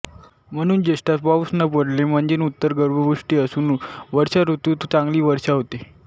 म्हणून ज्येष्ठात पाऊस न पडले म्हणजे उत्तर गर्भपुष्टी असुन वर्षाऋतुत चांगली वर्षा होते